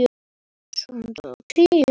Þetta gekk ekkert þá.